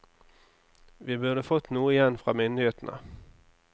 Vi burde fått noe igjen fra myndighetene.